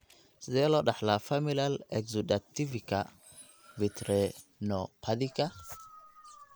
Sidee loo dhaxlaa familial exudativka vitreoretinopathiga?